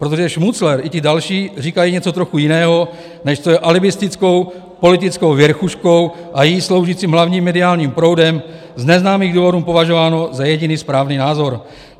Protože Šmucler i ti další říkají něco trochu jiného, než co je alibistickou politickou věrchuškou a jí sloužícím hlavním mediálním proudem z neznámých důvodů považováno za jediný správný názor.